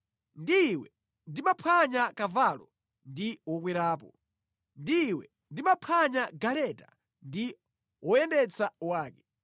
ndi iwe ndimaphwanya kavalo ndi wokwerapo, ndi iwe ndimaphwanya galeta ndi woyendetsa wake.